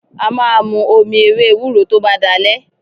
A máa mu omi ewé ewúro tó bá dalẹ́.